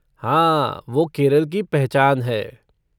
हाँ, वो केरल की पहचान है।